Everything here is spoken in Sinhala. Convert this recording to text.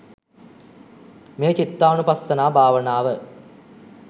මේ චිත්තානුපස්සනා භාවනාව.